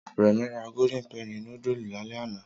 Remi ra golden penny núdúsì lálẹ́ àná